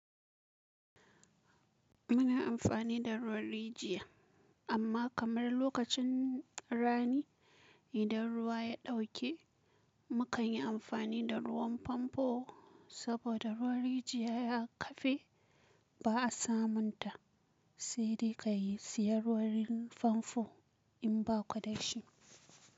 Muna amfani da ruwan rijiya amma kamar lokacin rani idan ruwa ya dauke mukan yi amfani da ruwan famfo saboda ruwan rijiya ya kafe ba a samun ta sai dai ka yi siyan ruwan famfo in ba ku dashi.